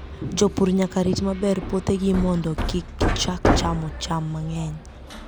Jopur nyaka rit maber puothegi mondo kik gichak chamo cham mang'eny.